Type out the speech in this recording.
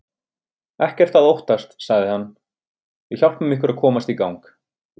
Ekkert að óttast sagði hann, við hjálpum ykkur að komast í gang.